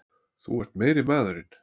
Þú ert meiri maðurinn!